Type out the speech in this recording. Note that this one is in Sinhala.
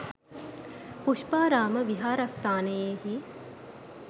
පුෂ්පාරාම විහාරස්ථානයෙහි